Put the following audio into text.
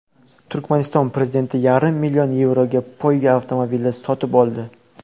Turkmaniston prezidenti yarim million yevroga poyga avtomobili sotib oldi.